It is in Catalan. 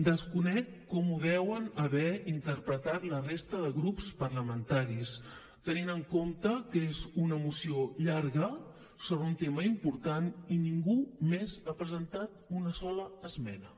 desconec com ho deuen haver interpretat la resta de grups parlamentaris tenint en compte que és una moció llarga sobre un tema important i ningú més ha presentat una sola esmena